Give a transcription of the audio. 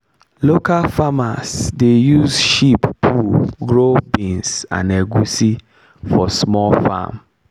local farmers dey use sheep poo grow beans and egusi for small farm.